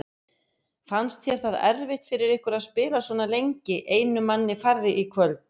Fannst þér það erfitt fyrir ykkur að spila svona lengi einum manni færri í kvöld?